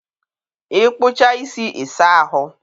ịkpụchaa isi, ị saa ahụ.